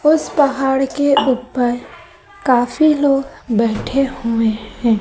उस पहाड़ के ऊपर काफी लोग बैठे हुए हैं।